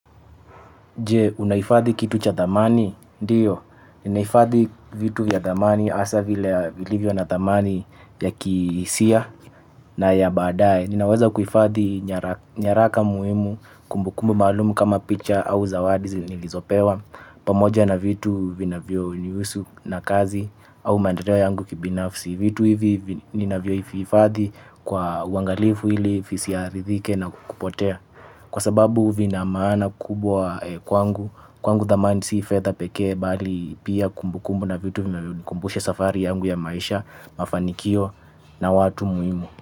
Jee, unaifadhi kitu cha thamani? Ndiyo. Ninaifadhi vitu ya dhamani hasa vile vilivyo na dhamani ya kihisia na ya baadae. Ninaweza kuifadhi nyaraka muhimu kumbukumbu maalumu kama picha au zawadi nilizopewa pamoja na vitu vinavyo nihusu na kazi au maendeleo yangu kibinafsi. Vitu hivi nina vyo vihifadhi kwa uangalifu ili visi arithike na kupotea. Kwa sababu vina maana kubwa kwangu, kwangu thamani si fedha pekee bali pia kumbu kumbu na vitu vinavyonikumbusha safari yangu ya maisha, mafanikio na watu muhimu.